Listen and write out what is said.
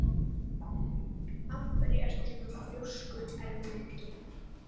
Af hverju ertu svona þrjóskur, Ermenga?